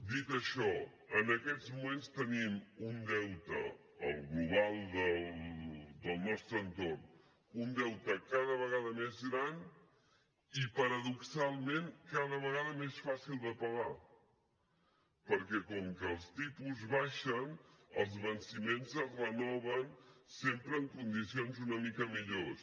dit això en aquests moments tenim un deute el global del nostre entorn un deute cada vegada més gran i paradoxalment cada vegada més fàcil de pagar perquè com que els tipus baixen els venciments es renoven sempre en condicions una mica millors